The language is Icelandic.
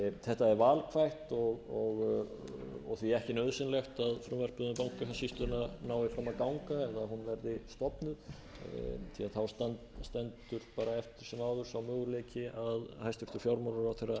þetta er valkvætt og því ekki nauðsynlegt að frumvarpið um bankasýsluna nái fram að ganga eða að hún verði stofnuð því að þá stendur bara eftir sem áður sá möguleiki að hæstvirtur fjármálaráðherra fer með